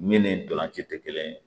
Min ni ntolanci tɛ kelen ye